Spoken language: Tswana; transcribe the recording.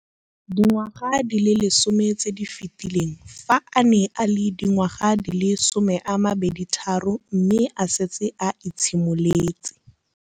Dingwaga di le 10 tse di fetileng, fa a ne a le dingwaga di le 23 mme a setse a itshimoletse